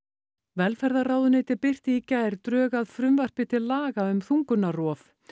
velferðarráðuneytið birti í gær drög að frumvarpi til laga um þungunarrof